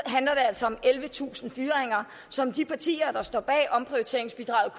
handler altså om ellevetusind fyringer som de partier der står bag omprioriteringsbidraget